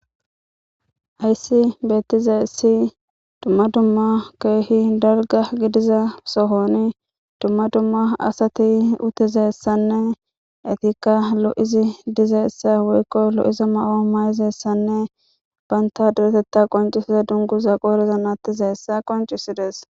Hayssi beettize essi dumma dumma keehi darga gidiza sohoni dumma dumma asati utizessanne etikka lo7izi dizessa woykko lo7iza ma7o may7izessanne baynta duretetta qoncisiza dungu za qoorezan attizeessa qoncisi dees.